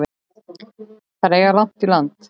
Þær eiga langt í land.